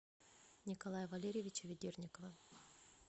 николая валерьевича ведерникова